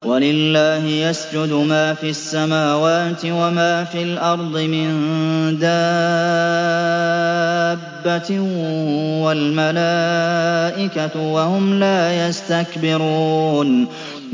وَلِلَّهِ يَسْجُدُ مَا فِي السَّمَاوَاتِ وَمَا فِي الْأَرْضِ مِن دَابَّةٍ وَالْمَلَائِكَةُ وَهُمْ لَا يَسْتَكْبِرُونَ